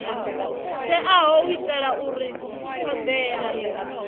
teaho u itela uri thodea